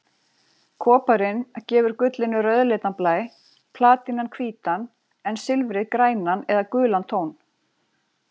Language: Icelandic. Koparinn gefur gullinu rauðleitan blæ, platínan hvítan en silfrið grænan eða gulan tón.